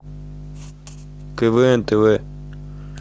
квн тв